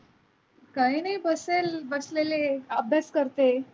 काय नाही बसेल बसलेले आहे अभ्यास करते.